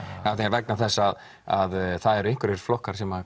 vegna þess að að það eru einhverjir flokkar sem